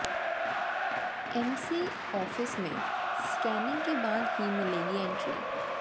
MC office में स्कैनिंग के बाद ही मिलेगी एंट्री